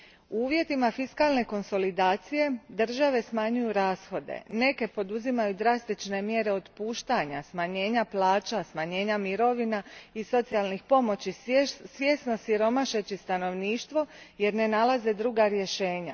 U uvjetima fiskalne konsolidacije države smanjuju rashode, neke poduzimaju drastične mjere otpuštanja, smanjenja plaća, smanjenja mirovina i socijalnih pomoći, svjesno siromašeći stanovništvo jer ne nalaze druga rješenja.